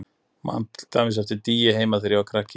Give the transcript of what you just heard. Ég man til dæmis eftir dýi heima þegar ég var krakki.